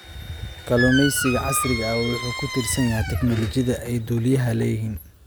Kalluumeysiga casriga ah wuxuu ku tiirsan yahay tignoolajiyada aan duuliyaha lahayn.